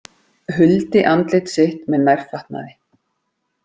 Huldi andlit sitt með nærfatnaði